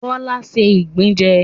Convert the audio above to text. Bọ́lá ṣé ìgbín jẹ